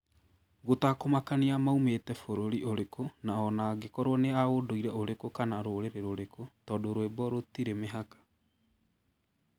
gũtakũ makania moimĩte bũrũri ũrĩkũ, na o na angĩkorũo nĩ a ũndũire ũrĩkũ kana rũrĩrĩ rũrĩkũ, tondũ rwĩmbo rũtirĩ mĩhaka.